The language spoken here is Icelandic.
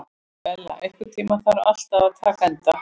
Bella, einhvern tímann þarf allt að taka enda.